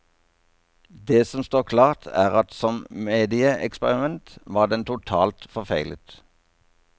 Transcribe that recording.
Det som står klart, er at som medieeksperiment var den totalt forfeilet.